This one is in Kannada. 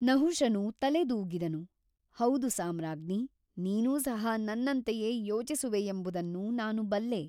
ನಹುಷನು ತಲೆದೂಗಿದನು ಹೌದು ಸಾಮ್ರಾಜ್ಞಿ ನೀನೂ ಸಹ ನನ್ನಂತೆಯೇ ಯೋಚಿಸುವೆಯೆಂಬುದನ್ನು ನಾನು ಬಲ್ಲೆ.